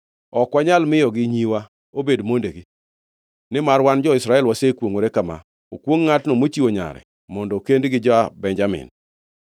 Ok wanyal miyogi nyiwa obed mondegi, nimar wan jo-Israel wasekwongʼore kama: ‘Okwongʼ ngʼatno mochiwo nyare mondo okend gi ja-Benjamin.’